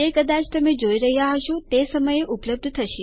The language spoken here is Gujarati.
તે કદાચ તમે જોઈ રહ્યાં હશો તે સમયે ઉપલબ્ધ થશે